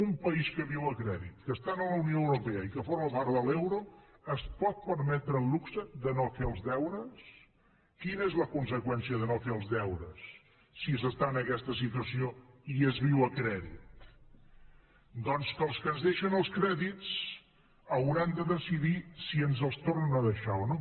un país que viu a crèdit que està a la unió europea i que forma part de l’euro es pot permetre el luxe de no fer els deures quina és la conseqüència de no fer els deures si s’està en aquesta situació i es viu a crèdit doncs que els que ens deixen els crèdits hauran de decidir si ens els tornen a deixar o no